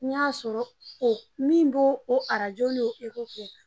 N y'a sɔrɔ o min bo o arajo ni kɛ.